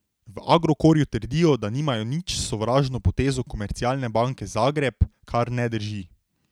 V Agrokorju trdijo, da nimajo nič s sovražno potezo Komercialne banke Zagreb, kar ne drži.